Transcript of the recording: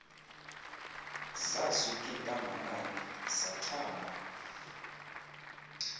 zasuk iintambanane zathamba